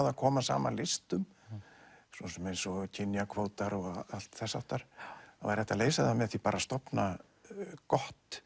að koma saman listum svo sem eins og kynjakvótar og allt þess háttar það væri hægt að leysa það með því að stofna gott